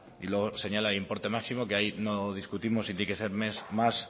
y luego señala el importe máximo que ahí no discutimos si tiene que ser más